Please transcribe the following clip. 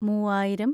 മൂവായിരം